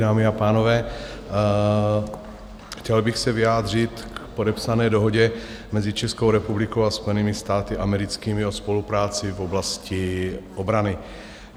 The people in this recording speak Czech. Dámy a pánové, chtěl bych se vyjádřit k podepsané Dohodě mezi Českou republikou a Spojenými státy americkými o spolupráci v oblasti obrany.